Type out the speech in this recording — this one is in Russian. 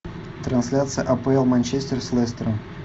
трансляция апл манчестер с лестером